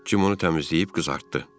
Jim onu təmizləyib qızartdı.